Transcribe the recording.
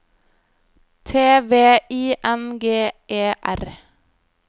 T V I N G E R